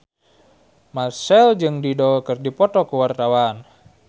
Marchell jeung Dido keur dipoto ku wartawan